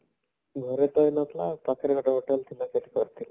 ଘରେ ତ ହେଇନଥିଲା ପାଖରେ ଗୋଟେ hotel ଥିଲା ସେଇଠି କରିଥିଲି